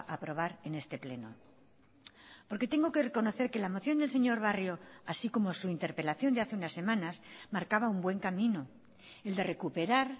a aprobar en este pleno porque tengo que reconocer que la moción del señor barrio así como su interpelación de hace unas semanas marcaba un buen camino el de recuperar